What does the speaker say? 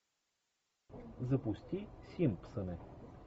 запусти симпсоны